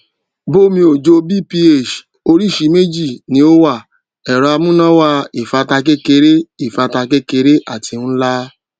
bomeojobph oríṣìí méjì ni ó wà ẹrọamúnáwá ìfátà kékeré ìfátà kékeré àti nlá